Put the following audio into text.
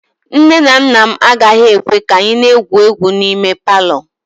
Nne na nna m agaghị ekwe ka anyị na-egwu egwu n'ime palọ